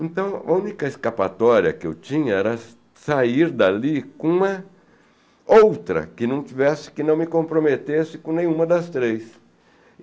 Então, a única escapatória que eu tinha era sa sair dali com uma outra, que não tivesse, que não me comprometesse com nenhuma das três.